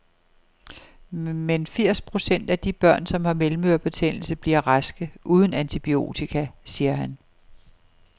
Men firs procent af de børn, som har mellemørebetændelse, bliver raske uden antibiotika, siger han.